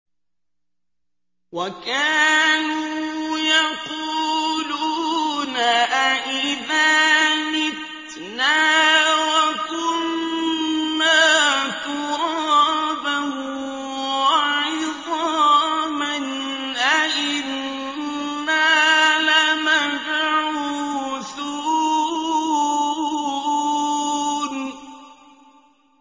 وَكَانُوا يَقُولُونَ أَئِذَا مِتْنَا وَكُنَّا تُرَابًا وَعِظَامًا أَإِنَّا لَمَبْعُوثُونَ